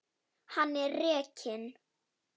Hann er rekinn.